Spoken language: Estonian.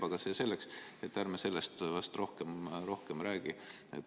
Aga see selleks, ärme sellest vast rohkem räägime.